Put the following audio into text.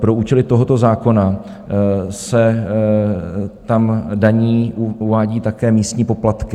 Pro účely tohoto zákona se tam daní, uvádí, také místní poplatky.